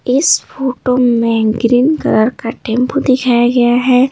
इस फोटो में green colour का टेंपो दिखाया गया है।